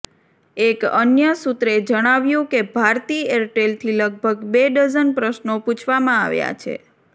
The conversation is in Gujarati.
એક અન્ય સૂત્રે જણાવ્યું કે ભારતી એરટેલથી લગભગ બે ડઝન પ્રશ્નો પૂછવામાં આવ્યા છે